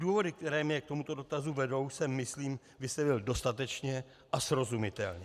Důvody, které mě k tomuto dotazu vedou, jsem, myslím, vysvětlil dostatečně a srozumitelně.